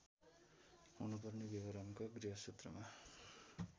हुनुपर्ने विवरण गृहसूत्रमा